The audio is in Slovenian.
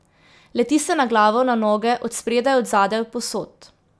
Leti se na glavo, na noge, od spredaj, od zadaj, povsod.